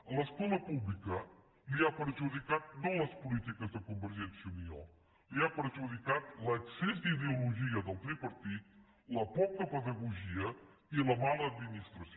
a l’escola pública l’ha perjudicat no les polítiques de convergència i unió l’ha perjudicat l’excés d’ideologia del tripartit la poca pedagogia i la mala administració